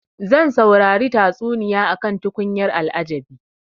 Zan saurari tatsuniya akan tukunyar al'ajabi.